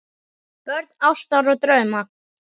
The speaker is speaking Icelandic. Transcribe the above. Börn ástar og drauma